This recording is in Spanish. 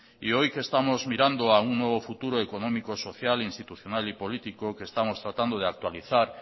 y hoy que estamos mirando a un nuevo futuro económico social institucional y político que estamos tratando de actualizar